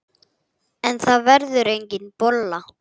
En það verður engin bolla.